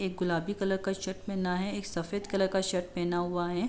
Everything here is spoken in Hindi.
एक गुलाबी कलर का शर्ट पहना है एक सफेद कलर का शर्ट पहना हुआ है।